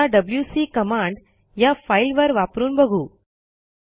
आता WC command या फाईलवर वापरून बघू